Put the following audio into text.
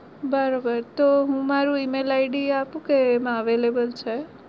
બરોબર તો મારું email id આપું કે એમાં available છે?